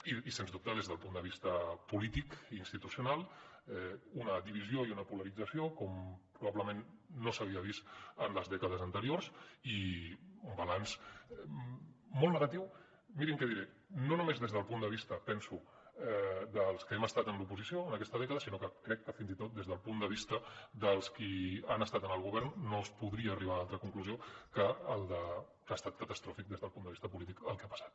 i sens dubte des del punt de vista polític i institucional una divisió i una polarització com probablement no s’havia vist en les dècades anteriors i un balanç molt negatiu mirin què diré no només des del punt de vista penso dels que hem estat en l’oposició en aquesta dècada sinó que crec que fins i tot des del punt de vista dels qui han estat en el govern no es podria arribar a altra conclusió que ha estat catastròfic des del punt de vista polític el que ha passat